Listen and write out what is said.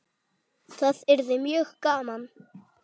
Það yrði mjög gaman.